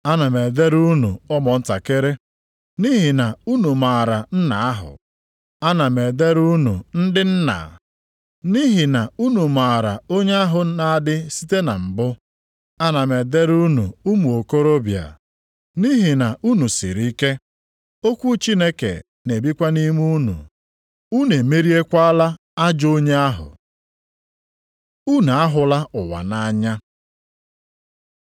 Ana m edere unu ụmụntakịrị, nʼihi na unu maara nna ahụ. Ana m edere unu ndị nna, nʼihi na unu maara onye ahụ na-adị site na mbụ. Ana m edere unu ụmụ okorobịa, nʼihi na unu siri ike, okwu Chineke na-ebikwa nʼime unu, unu emeriekwala ajọ onye ahụ. Unu ahụla ụwa nʼanya